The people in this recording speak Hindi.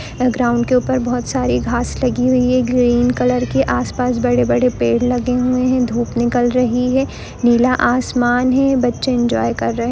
ग्राउंड के ऊपर बहुत सारी घास लगी हुई है ग्रीन कलर की आसपास बड़े-बड़े पेड़ लगे हुए हैं धूप निकल रही है नीला आसमान है बच्चे एन्जॉय कर रहे--